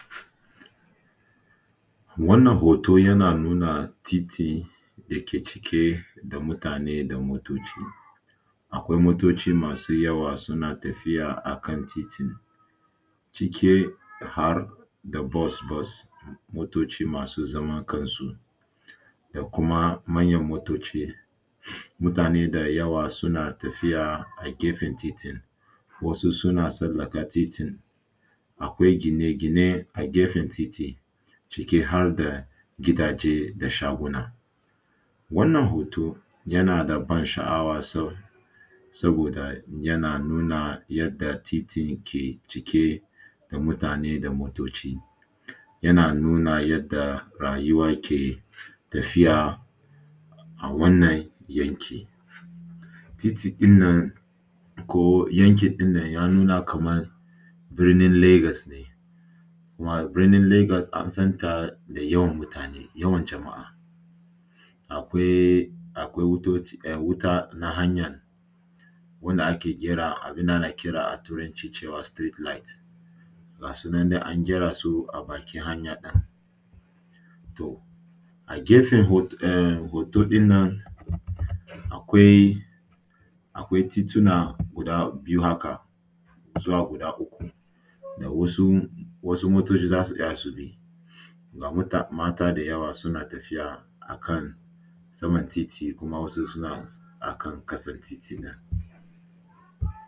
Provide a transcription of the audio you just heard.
Wannan hoto yana nuna titi cike da mutane da motoci. Akwai motoci masu yawa suna tafiya akan titi cike har da bus bus, motoci masu zaman kansu da kuma manyan motoci. Mutane da yawa suna tafiya a gefen titin, wasu suna tsallaka titin, akwai gine-gine a gefen titin ciki har da gidaje da shaguna. Wannan hoto yana da ban sha’awa sa, saboda yana nuna yadda titin ke cike da mutane da motoci, yana nuna yanda rayuwa ke tafiya a wannan yanki. Titi ɗinnan ko yanki ɗinnan ya nuna kamar birnin Legas ne, kuma birnin Legas an san ta da yawan mutane, yawan jama’a. akwai, akwai wuta na hanya wanda ake kira a turancu street light ga su nana a gyara su a bakin hanya ɗin. To a gefe hoto ɗinnan akwai tituna guda biyu haka zuwa guda uku da wasu wasu motoci za su iya su bi. Ga muta mata dayawa suna tafiya akan saman titi kuma wasu kuma suna akan ƙasan titin nan.